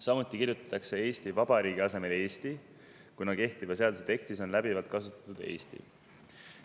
Samuti kirjutatakse "Eesti Vabariigi" asemel "Eesti", kuna kehtiva seaduse tekstis on läbivalt kasutatud sõna "Eesti".